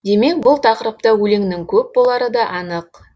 демек бұл тақырыпта өлеңнің көп болары да анық